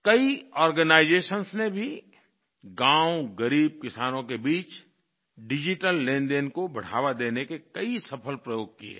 कई आर्गेनाइजेशंस ने भी गाँव ग़रीब किसानों के बीच डिजिटल लेनदेन को बढ़ावा देने के कई सफल प्रयोग किये हैं